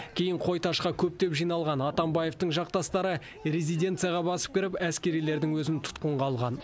кейін қойташқа көптеп жиналған атамбаевтың жақтастары резиденцияға басып кіріп әскерилердің өзін тұтқынға алған